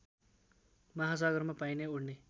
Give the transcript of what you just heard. महासागरमा पाइने उड्ने